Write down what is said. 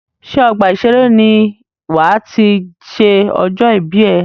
Ṣé ọgbà ìseré ní wà á ti ṣe ọjọ́ ìbí ẹ?